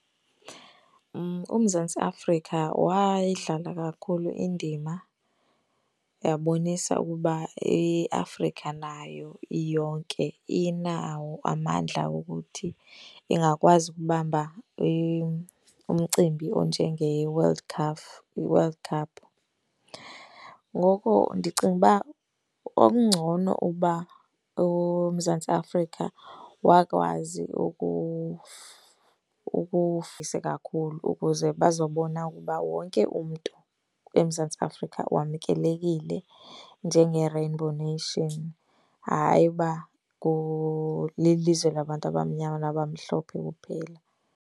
UMzantsi Afrika wayidlala kakhulu indima yabonisa ukuba iAfrika nayo iyonke inawo amandla wokuthi ingakwazi ukubamba umcimbi onjengeWorld Cup, iWorld Cup. Ngoko ndicinga uba okungcono uba uMzantsi Afrika wakwazi kakhulu ukuze bazobona ukuba wonke umntu eMzantsi Afrika wamkelekile njengeRainbow Nation. Hayi uba lilizwe labantu abamnyama nabamhlophe kuphela.